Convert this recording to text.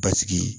Basigi